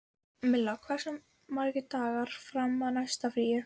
Milla, hversu margir dagar fram að næsta fríi?